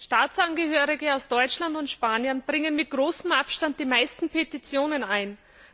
Staatsangehörige aus Deutschland und Spanien bringen mit großem Abstand die meisten Petitionen ein.